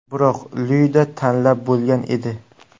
Biroq Lyuda tanlab bo‘lgan edi.